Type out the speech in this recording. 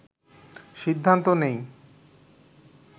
সিদ্ধান্ত নিই